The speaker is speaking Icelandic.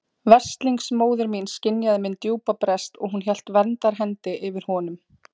Veslings móðir mín skynjaði minn djúpa brest og hún hélt verndarhendi yfir honum.